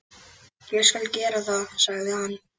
Ég skal gera það, sagði hann.